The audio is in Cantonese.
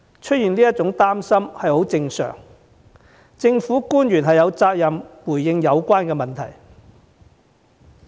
市民有這些擔心是很正常的，政府官員有責任回應有關問題。